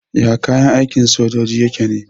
Yaya kayan aikin sojoji yake ne?